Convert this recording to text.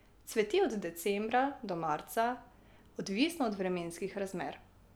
Cveti od decembra do marca, odvisno od vremenskih razmer.